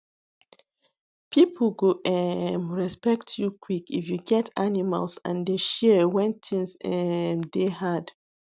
people go um respect you quick if you get animals and dey share when things um dey hard